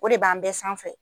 O de b'an bɛɛ sanfɛ